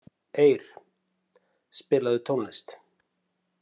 Eir, spilaðu tónlist.